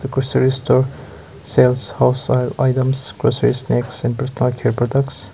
grocery store sales wholesale items grocery snacks products.